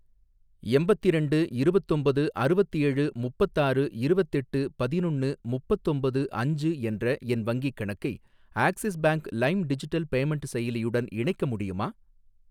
எம்பத்திரெண்டு இருவத்தொம்பது அறுவத்தேழு முப்பத்தாறு இருவத்தெட்டு பதினொன்னு முப்பத்தொம்பது அஞ்சு என்ற என் வங்கிக் கணக்கை Axis Bank Lime digital payment செயலியுடன் இணைக்க முடியுமா?